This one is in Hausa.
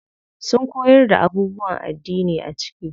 Sun koyar da abubuwan addini a ciki.